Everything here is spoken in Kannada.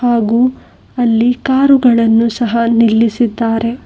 ಹಾಗು ಅಲ್ಲಿ ಕಾರು ಗಳನ್ನು ಸಹ ನಿಲ್ಲಿಸಿದ್ದಾರೆ.